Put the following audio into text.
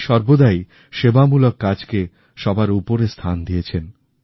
উনি সর্বদাই সেবামূলক কাজকে সবার উপরে স্থান দিয়েছেন